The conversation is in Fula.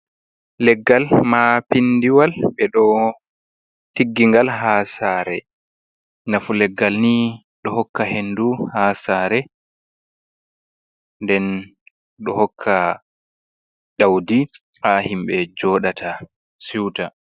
Leggal mapindiwal ɓe ɗo tiggi ngal haa saare, nafu leggal ni ɗo hokka hendu ha saare, nden ɗo hokka ɗaudi ha himɓe jooɗata siuta.